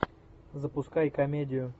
запускай комедию